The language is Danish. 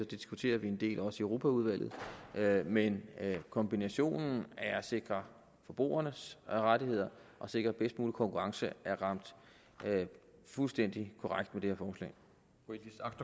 det diskuterer vi en del også i europaudvalget men kombinationen af at sikre forbrugernes rettigheder og sikre bedst mulig konkurrence har ramt fuldstændig korrekt med det